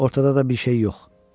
Ortada da bir şey yox.